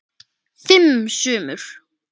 Fimm sumur